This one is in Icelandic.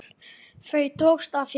Þau drógust að þér.